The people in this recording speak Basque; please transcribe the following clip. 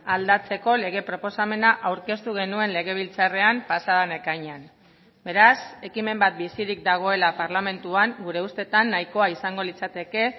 aldatzeko lege proposamena aurkeztu genuen legebiltzarrean pasa den ekainean beraz ekimen bat bizirik dagoela parlamentuan gure ustetan nahikoa izango litzateke